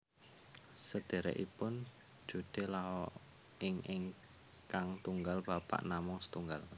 Sederekipun Jude Law ingkang tunggal bapak namung setunggal